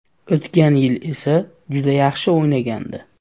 O‘tgan yil esa juda yaxshi o‘ynagandi.